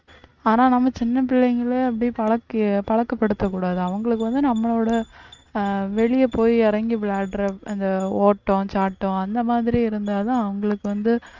ஆனா நம்ம சின்ன பிள்ளைங்களை அப்படியே பழக்க பழக்கப்படுத்தக்கூடாது அவங்களுக்கு வந்து நம்மளோட ஆஹ் வெளிய போய் இறங்கி விளையாடுற அந்த ஓட்டம், சாட்டம் அந்த மாதிரி இருந்தாதான் அவங்களுக்கு வந்து